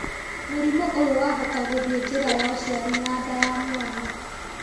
Mũrimũ ũyũ wahota gũthiĩ njĩra ya ũciari na nda ya mwana